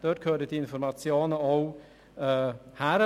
Dort gehören diese Informationen auch hin.